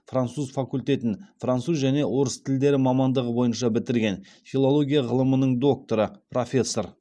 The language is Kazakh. француз факультетін француз және орыс тілдері мамандығы бойынша бітірген филология ғылымының докторы профессор